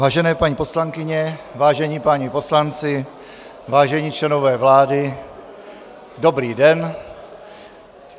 Vážené paní poslankyně, vážení páni poslanci, vážení členové vlády, dobrý den.